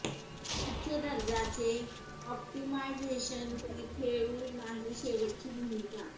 उच्च दर्जाचे ऑप्टिमायझेशन की खेळू नाही शेवटची भूमिका